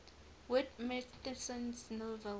whit masterson's novel